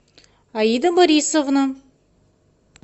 аида борисовна